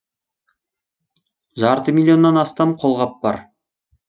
жарты миллионнан астам қолғап бар